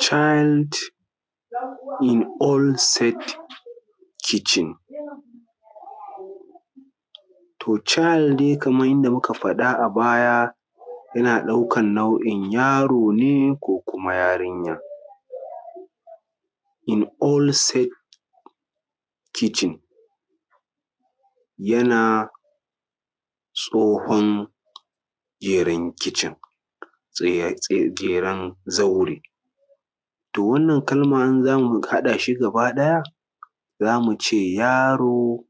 child in old st kitchen. To child dai kaman yanda muka fadi a baya yana ɗaukan nau’in yaro ne ko kuma yarinya in old set kitchen yana tsohon geren kicin, geren zaure. To wannan kalman in zamu hada shi gaba ɗaya zamu ce yaro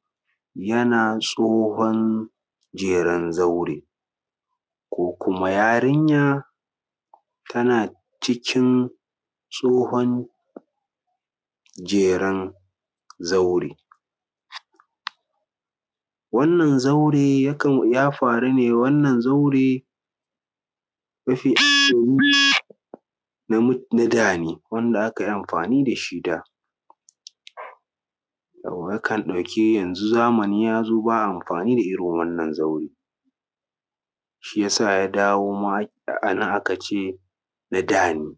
yana tsohon jeren zaure, ko kuma yarinya tana cikin tsohon jeren zaure. Wannan zaure yakan ya faru ne wannan zaure na mutan na dane wanda aka yi amfani dashi da yakan ɗauki yanzu zamani ya zo ba a amfani da irin wannan zaure, shiyasa ya dawo ma anan aka ce na da ne,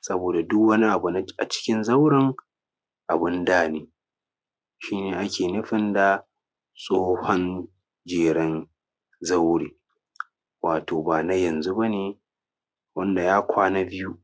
saboda duk wani abu na a cikin zauren abun da ne, shi ne ake nufin da tsohon jeren zaure, wato ba na yanzu bane, wanda ya kwana biyu.